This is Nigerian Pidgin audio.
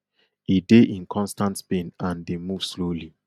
e dey in constant pain and dey move slowly